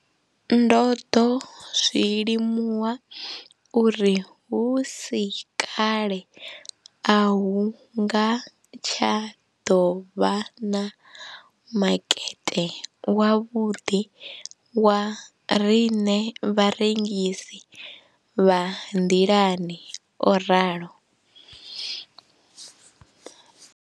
Ndo ḓo zwi limuwa uri hu si kale a hu nga tsha ḓo vha na makete wavhuḓi wa riṋe vharengisi vha nḓilani, o ralo.